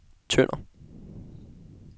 Tønder